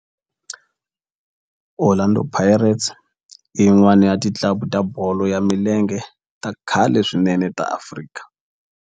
Orlando Pirates i yin'wana ya ti club ta bolo ya milenge ta khale swinene ta Afrika.